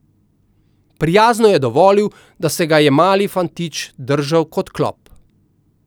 Prijazno je dovolil, da se ga je mali fantič držal kot klop.